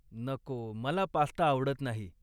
नको. मला पास्ता आवडत नाही.